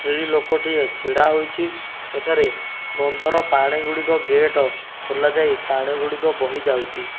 ଲୋକଟିଏ ଛିଡାହୋଇଛି ଏଠାରେ ବନ୍ଧର ଗୁଡିକ ଗେଟ ଖୋଲାଯାଇ ଗୁଡିକ ବୋହିଯାଉଛି।